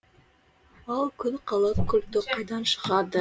ал күн қала культі қайдан шығады